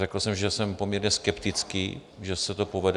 Řekl jsem, že jsem poměrně skeptický, že se to povede.